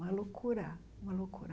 Uma loucura, uma loucura.